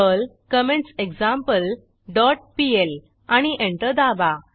Perl comments example dot PL आणि enter दाबा